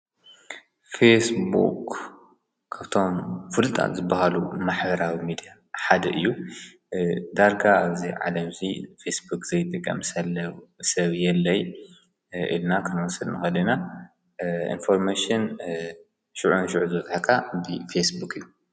ፌስቡክ ካብቶም ፍሉጣት ዝበሃሉ ማህበራዊ ሚድያ ሓደ እዩ። ዳርጋ ዝለዓለ ዉፅኢት ፌስቡክ ዘይጥቀም ሰብ የለን ኢልና ክንወስድ ንክእል ኢና ኢንፎርሜሽን ሽዑንሽዑ ዝበፅሐካ ብፌስቡክ እዩ።